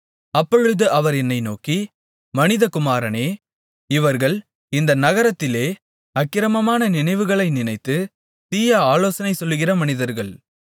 அப்பொழுது அவர் என்னை நோக்கி மனிதகுமாரனே இவர்கள் இந்த நகரத்திலே அக்கிரமமான நினைவுகளை நினைத்து தீய ஆலோசனை சொல்லுகிற மனிதர்கள்